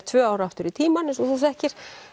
tvö ár aftur í tímann eins og þú þekkir